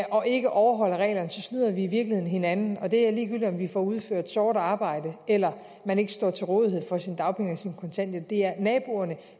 og ikke overholder reglerne snyder vi i virkeligheden hinanden og det er ligegyldigt om vi får udført sort arbejde eller man ikke står til rådighed for sine dagpenge eller sin kontanthjælp det er naboerne